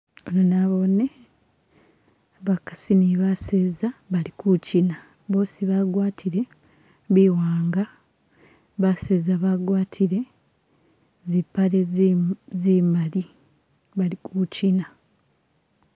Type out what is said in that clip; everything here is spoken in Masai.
Ano nabone bakasi ne baseza bali ku kina , boosi bagwatile biwanga , baseza bagwatile zipale zimali bali kuchina.